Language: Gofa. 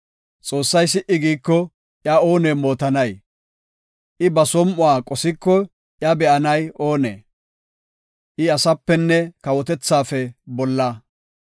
Xoossay si77i giiko iya oone mootanay? I ba som7uwa qosiko iya be7anay oonee? I asaapenne kawotethaafe bolla.